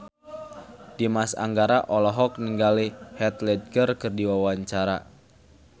Dimas Anggara olohok ningali Heath Ledger keur diwawancara